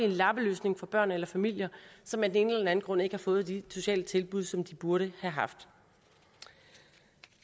en lappeløsning for børn eller familier som af den ene eller den anden grund ikke har fået de sociale tilbud som de burde have haft